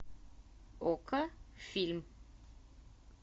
окко фильм